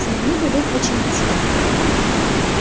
смогли бы вы починить его